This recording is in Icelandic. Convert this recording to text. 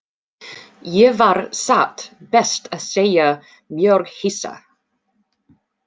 Ég var satt best að segja mjög hissa.